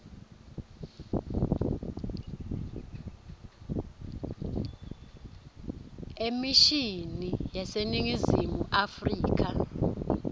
emishini yaseningizimu afrika